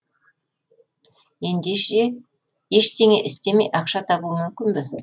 ештеңе істемей ақша табу мүмкін бе